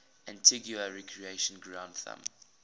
antigua recreation ground thumb